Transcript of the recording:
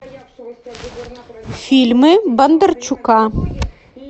фильмы бондарчука